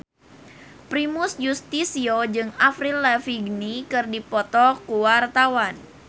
Primus Yustisio jeung Avril Lavigne keur dipoto ku wartawan